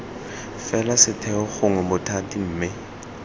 fela setheo gongwe bothati mme